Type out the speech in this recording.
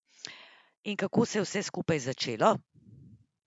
In kako se je vse skupaj začelo?